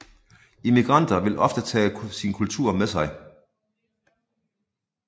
Immigranter vil ofte tage sin kultur med sig